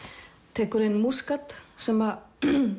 tekur inn Múskat sem